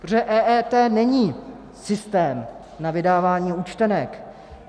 Protože EET není systém na vydávání účtenek.